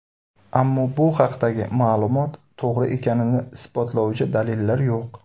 Ammo bu haqdagi ma’lumot to‘g‘ri ekanini isbotlovchi dalillar yo‘q.